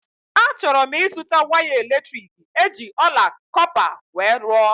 A chọrọ m ịzụta waya elektriki eji ọla kọpa wee rụọ